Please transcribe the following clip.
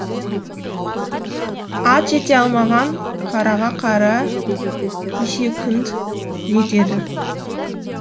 ат жете алмаған қарғаға қара есек жетеді